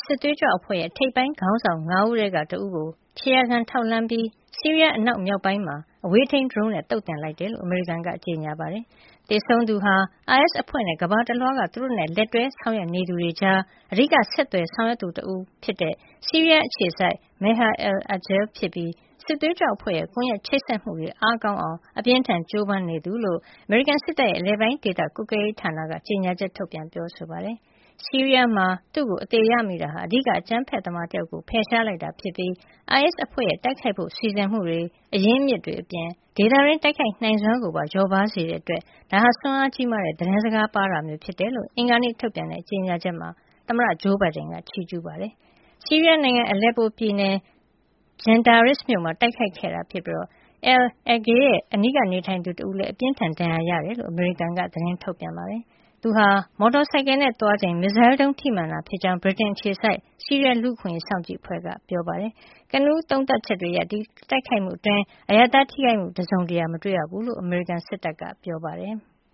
စစ်သွေးကြွ အဖွဲ့ရဲ့ ထိပ်ပိုင်း ခေါင်းဆောင် ၅ ဦးထဲက တဦးကို ခြေရာခံထောက်လှမ်းပြီး ဆီးရီးယား အနောက်မြောက်ပိုင်းမှာ အဝေးထိန်းဒရုန်းနဲ့ သုတ်သင်လိုက်ကြောင်း အမေရိကန်က ကြေညာပါတယ်။ သေဆုံးသူဟာ အိုင်အက်စ်အဖွဲ့နဲ့ ကမ္ဘာတလွှားက သူတို့နဲ့လက်တွဲဆောင်ရွက်နေသူတွေကြား အဓိကဆက်သွယ် ဆောင်ရွက်သူ တဦးဖြစ်တဲ့ ဆီးရီးယားအခြေစိုက် Maher al-Agal ဖြစ်ပြီး စစ်သွေးကြွအဖွဲ့ရဲ့ ကွန်ယက်ချိတ်ဆက်မှုတွေ အားကောင်းအောင် အပြင်းအထန် ကြိုးပမ်းနေသူဖြစ်ကြောင်း အမေရိကန်စစ်တပ်ရဲ့ အလယ်ပိုင်းဒေသ ကွပ်ကဲရေးဌာန CENTCOM က ကြေညာချက် ထုတ်ပြန်ပြောဆိုပါတယ်။ ဆီးရီးယားမှာ Al-Agal ကို အသေရမိတာဟာ အဓိကအကြမ်းဖက်သမား တယောက်ကို ဖယ်ရှားလိုက်တာဖြစ်ပြီး အိုင်အက်စ်အဖွဲ့ရဲ့ တိုက်ခိုက်ဖို့စီစဉ်မှုတွေ၊ အရင်းအမြစ်တွေအပြင် ဒေသတွင်းတိုက်ခိုက်နိုင်စွမ်းကိုပါ လျော့ပါးစေတဲ့ အတွက် ဒါဟာ စွမ်းအင်ကြီးမားတဲ့သတင်းစကားပါးတာမျိုး ဖြစ်ကြောင်း အင်္ဂါနေ့ ထုတ်ပြန်တဲ့ ကြေညာချက်မှာ သမ္မတဂျိုးဘိုင်ဒန်က ချီးကြူးခဲ့ပါတယ်။ ဆီးရီးယားနိုင်ငံ Aleppo ပြည်နယ်က Jindayris မြို့ပြင်မှာ တိုက်ခိုက်ခဲ့တာဖြစ်ပြီး al-Agal ရဲ့ အနီးကပ်နေထိုင်သူ တဦးလည်း အပြင်းအထန် ဒဏ်ရာရခဲ့တယ်လို့လည်း အမေရိကန်က သတင်းထုတ်ပြန်ပါတယ်။ သူဟာ မော်တော်ဆိုင်ကယ်နဲ့ သွားနေချိန် မစ်ဇိုင်းဒုံးထိမှန်ခဲ့တာဖြစ်ကြောင်း ဗြိတိန်အခြေစိုက် ဆီးရီးယား လူ့အခွင့်ရေးစောင့်ကြည့် အဖွဲ့က ပြောပါတယ်။ ကနဦး စစ်ဆေးသုံးသပ်ချက်တွေအရ ဒီတိုက်ခိုက်မှု အတွင်း အရပ်သား ထိခိုက်မှု တစုံတရာ မတွေ့ရဘူးလို့ အမေရိကန်စစ်တပ်က ပြောပါတယ်။